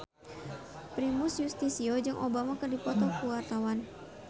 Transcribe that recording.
Primus Yustisio jeung Obama keur dipoto ku wartawan